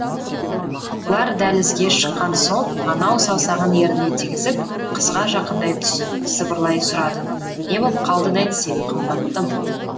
олар дәлізге шыққан соң анау саусағын ерніне тигізіп қызға жақындай түсіп сыбырлай сұрады не боп қалды нэнси қымбаттым